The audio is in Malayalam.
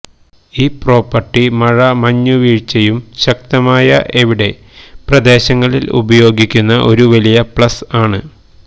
ഈ പ്രോപ്പർട്ടി മഴ മഞ്ഞുവീഴ്ചയും ശക്തമായ എവിടെ പ്രദേശങ്ങളിൽ ഉപയോഗിക്കുന്ന ഒരു വലിയ പ്ലസ് ആണ്